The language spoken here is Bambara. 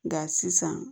Nka sisan